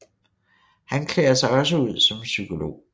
Han klæder sig også ud som psykolog